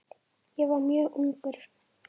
Ég var mjög ungur.